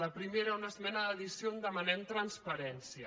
la primera una esmena d’addició on demanem transparència